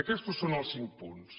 aquestos són els cinc punts